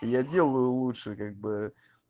я делаю лучше как бы